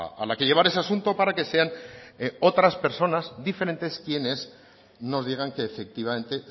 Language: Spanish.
a la que llevar ese asunto para que sean otras personas diferentes quienes nos digan que efectivamente